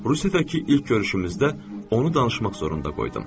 Rusiyadakı ilk görüşümüzdə onu danışmaq zorunda qoydum.